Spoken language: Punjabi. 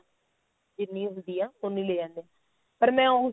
ਜਿੰਨੀ ਹੁੰਦੀ ਆ ਉੰਨੀ ਲੈ ਜਾਂਦੀ ਆ ਪਰ ਮੈਂ ਉਹ